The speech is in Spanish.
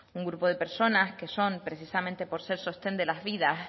un grupo de personas que son precisamente por ser sostén de la vida